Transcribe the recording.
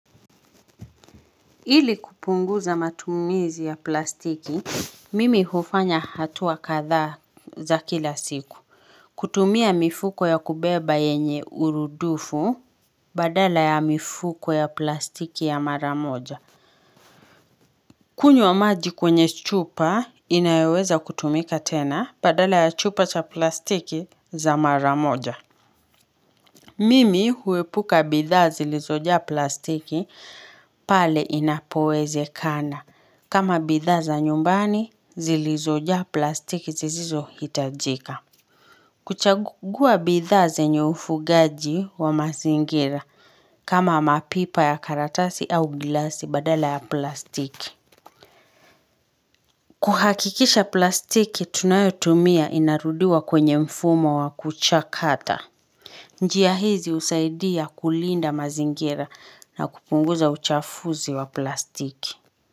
Ili kupunguza matumizi ya plastiki, mimi hufanya hatua kadhaa za kila siku. Kutumia mifuko ya kubeba yenye urudufu badala ya mifuko ya plastiki ya maramoja. Kunywa maji kwenye chupa inayoweza kutumika tena badala ya chupa cha plastiki za mara moja. Mimi huepuka bidhaa zilizojaa plastiki pale inapowezekana. Kama bidhaa za nyumbani, zilizojaa plastiki zisizohitajika. Kuchagua bidhaa zenye ufugaji wa mazingira kama mapipa ya karatasi au glasi badala ya plastiki. Kuhakikisha plastiki tunayotumia inarudiwa kwenye mfumo wa kuchakata. Njiachizi husaidia kulinda mazingira na kupunguza uchafuzi wa plastiki.